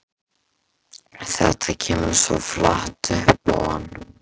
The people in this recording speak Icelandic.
Þetta kemur svo flatt upp á hann.